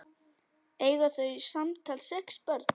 Eiga þau samtals sex börn.